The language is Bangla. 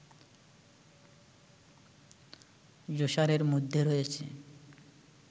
জুসারের মধ্যে রয়েছে